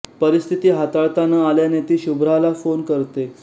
परिस्थिती हाताळता न आल्याने ती शुभ्राला फोन करते